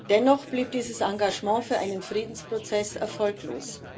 Dennoch blieb dieses Engagement für einen Friedensprozess erfolglos.